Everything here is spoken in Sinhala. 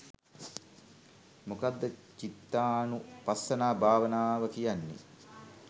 මොකක්ද චිත්තානුපස්සනා භාවනාව කියන්නේ